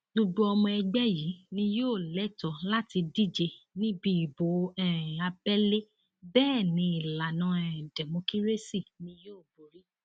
gbogbo ọmọ ẹgbẹ yìí ni yóò lẹtọọ láti díje níbi ìbò um abẹlé bẹẹ ni ìlànà um dẹmọkírésì ni yóò borí